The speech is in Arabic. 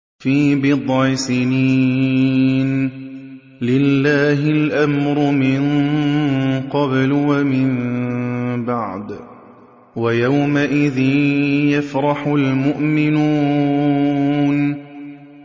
فِي بِضْعِ سِنِينَ ۗ لِلَّهِ الْأَمْرُ مِن قَبْلُ وَمِن بَعْدُ ۚ وَيَوْمَئِذٍ يَفْرَحُ الْمُؤْمِنُونَ